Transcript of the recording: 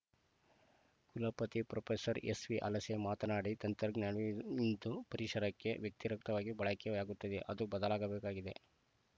ಕುಲಪತಿ ಪ್ರೊಫೆಸರ್ ಎಸ್‌ವಿಹಲಸೆ ಮಾತನಾಡಿ ತಂತ್ರಜ್ಞಾನವು ಇಂದು ಪರಿಸರಕ್ಕೆ ವ್ಯತಿರಿಕ್ತವಾಗಿ ಬಳಕೆಯಾಗುತ್ತಿದೆ ಅದು ಬದಲಾಗಬೇಕಾಗಿದೆ